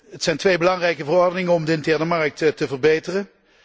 Het zijn twee belangrijke verordeningen om de interne markt te verbeteren.